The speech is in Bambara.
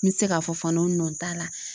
N bi se k'a fɔ fana o nɔ t'a la.